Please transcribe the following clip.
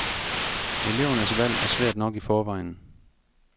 Elevernes valg er svært nok i forvejen.